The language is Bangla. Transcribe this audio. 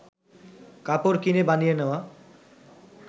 কাপড় কিনে বানিয়ে নেওয়া